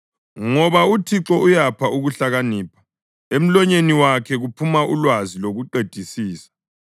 Ngoba uThixo uyapha ukuhlakanipha, emlonyeni wakhe kuphuma ulwazi lokuqedisisa.